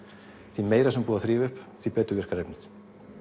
því meira sem er búið að þrífa upp því betur virkar efnið